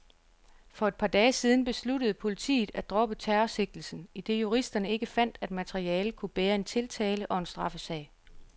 For et par dage siden besluttede politiet at droppe terrorsigtelsen, idet juristerne ikke fandt, at materialet kunne bære en tiltale og straffesag.